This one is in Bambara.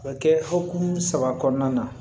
O bɛ kɛ hukumu saba kɔnɔna na